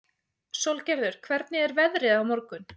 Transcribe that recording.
Sólgerður, hvernig er veðrið á morgun?